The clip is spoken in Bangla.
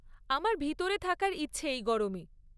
আমার ভেতরে থাকার ইচ্ছে এই গরমে।